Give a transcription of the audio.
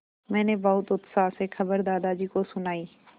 मैंने बहुत उत्साह से खबर दादाजी को सुनाई